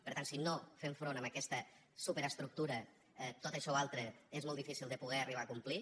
per tant si no fem front a aquesta superestructura tot això altre és molt difícil de poder ho arribar a complir